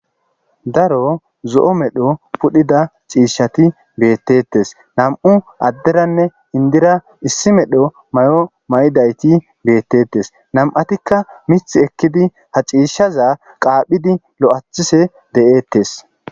daro zo7o medho pudhida ciishati beettetes nam7u adderanne indira issi medho may7o ma7idayti beettettes nam7atikka mith ekkidi ha ciishaza qaaphidi lo7athise de7ettes